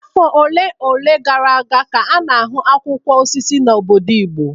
Afọ ole na ole gara aga ka a na-ahụ akwụkwọ osisi na obodo igbo